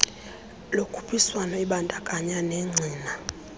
lokhuphiswano ebandakanya negcina